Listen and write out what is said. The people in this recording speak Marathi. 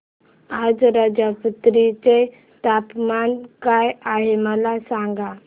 आज राजमुंद्री चे तापमान काय आहे मला सांगा